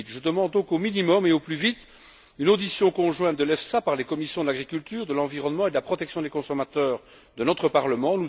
2008. Je demande donc, au minimum et au plus vite, une audition conjointe de l'EFSA par les commissions de l'agriculture, de l'environnement et de la protection des consommateurs de notre Parlement.